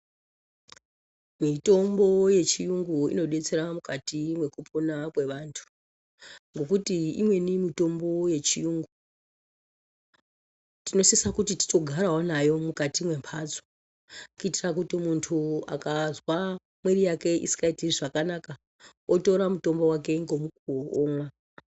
Mitombo yechiyungu inodetsera mukati mwekupona kwevantu. Ngokuti imweni mitombo yechiyungu tinosisa kuti titogarawo nayo mukati mwembatso. Kuitira kuti muntu akazwa mwiiri yake isikaiti zvakanaka, otora mutombo vake ngomukuvo omwa.